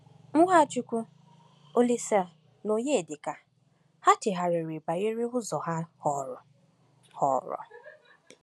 NwaChukwu, Olísè, na Onyedika—ha chegharịrị banyere ụzọ ha họrọ? họrọ?